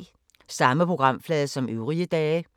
Samme programflade som øvrige dage